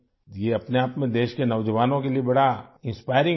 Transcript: یہ اپنے آپ میں ملک کے نوجوانوں کے لیے بڑا انسپائرنگ ہے